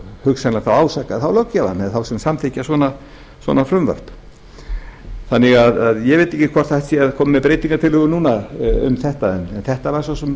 hugsanlega ásaka þá löggjafann eða þá sem samþykkja svona frumvarp ég veit ekki hvort hægt er að koma með breytingartillögu núna um þetta en þetta var svo sem